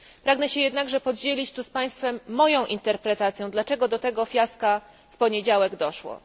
Pragnę się jednakże podzielić tu z Państwem moją interpretacją, dlaczego do tego fiaska w poniedziałek doszło.